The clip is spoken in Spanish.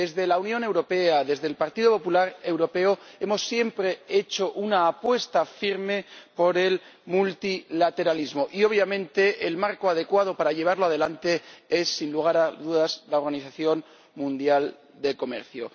En la Unión Europea, en el Partido Popular Europeo hemos siempre hecho una apuesta firme por el multilateralismo y obviamente el marco adecuado para llevarlo adelante es, sin lugar a dudas, la Organización Mundial del Comercio.